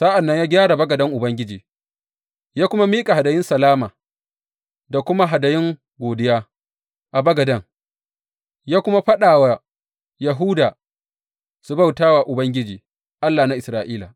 Sa’an nan ya gyara bagaden Ubangiji ya kuma miƙa hadayun salama da kuma hadayun godiya a bagaden, ya kuma faɗa wa Yahuda su bauta wa Ubangiji, Allah na Isra’ila.